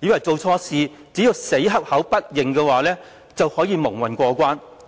以為做錯事後只要死口不認，便可以蒙混過關。